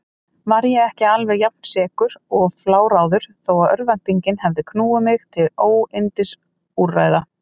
Var ég ekki alveg jafnsekur og fláráður þó örvæntingin hefði knúið mig til óyndisúrræða?